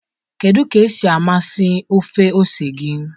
kedu ka esi amasị ofe ose gị?